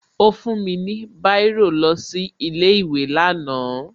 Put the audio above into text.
Ó fún mi ní Báírò lọ sí ilé ìwé lánàá